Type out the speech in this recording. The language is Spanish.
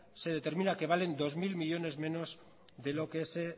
de determina que valen dos mil millónes menos de lo que se